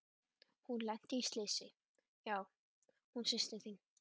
Hún lenti í slysi, já, hún systir þín.